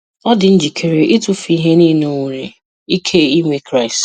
Ọ dị njikere ịtụfu ihe niile o nwere ike inwe Kraịst.